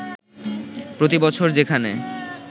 প্রতিবছর যেখানে